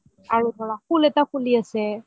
আৰু ধৰা ফুল এটা ফুলি আছে